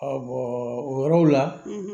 o yɔrɔw la